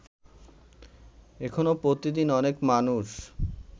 এখনো প্রতিদিন অনেক মানুষ